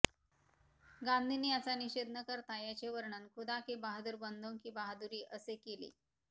गांधीनी याचा निषेध न करता याचे वर्णन खुदा के बहादूर बंदो की बहादुरी असे केले